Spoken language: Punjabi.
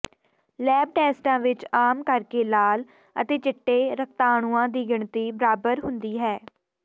ਲੈਬ ਟੈਸਟਾਂ ਵਿਚ ਆਮ ਕਰਕੇ ਲਾਲ ਅਤੇ ਚਿੱਟੇ ਰਕਤਾਣੂਆਂ ਦੀ ਗਿਣਤੀ ਬਰਾਬਰ ਹੁੰਦੀ ਹੈ